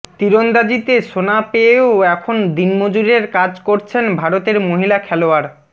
তিরন্দাজিতে সোনা পেয়েও এখন দিনমজুরের কাজ করছেন ভারতের মহিলা খেলোয়াড়